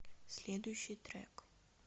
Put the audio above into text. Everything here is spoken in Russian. следующий трек